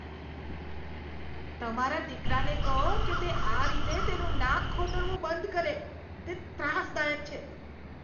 તમારા દીકરાને કહો કે તે આ રીતે તેનું નાક ખોતરવું બંધ કરે. તે ત્રાસદાયક છે.